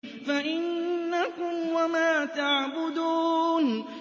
فَإِنَّكُمْ وَمَا تَعْبُدُونَ